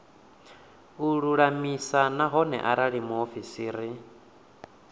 a lulamise nahone arali muofisiri